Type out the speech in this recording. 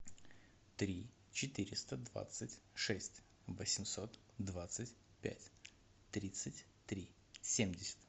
три четыреста двадцать шесть восемьсот двадцать пять тридцать три семьдесят